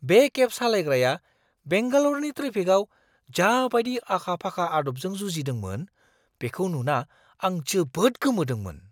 बे केब सालायग्राया बेंगाल'रनि ट्रेफिकआव जाबायदि आखा-फाखा आदबजों जुजिदोंमोन, बेखौ नुना आं जोबोद गोमोदोंमोन!